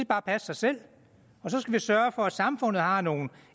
bare passe sig selv og så skal vi sørge for at samfundet har nogle